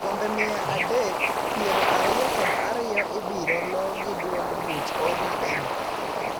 Kombe mia adek piero ariyo kod ariyo ibiroloo gi duond buch ODM.